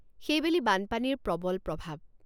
সেইবেলি বানপানীৰ প্ৰবল প্ৰভাৱ।